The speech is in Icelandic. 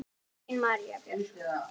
Þín María Björk.